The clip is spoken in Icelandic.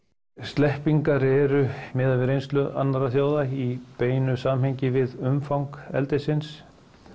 sleppingar eru miðað við reynslu annarra þjóða í beinu samhengi við umfang eldisins